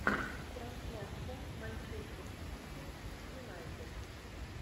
трансляция манчестер сити с юнайтед